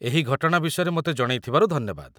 ଏହି ଘଟଣା ବିଷୟରେ ମୋତେ ଜଣେଇଥିବାରୁ ଧନ୍ୟବାଦ।